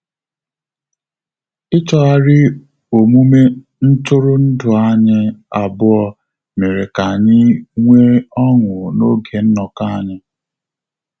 Ichọghari omume ntụrụndu anyị abụọ mere ka anyị nwe ọṅu na-oge nnoko anyị